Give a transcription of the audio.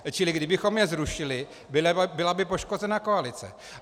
Čili kdybychom je zrušili, byla by poškozena koalice.